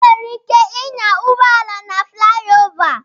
E nwere ike ịnya ụgbọala na flayova.